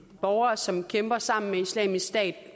borgere som kæmper sammen med islamisk stat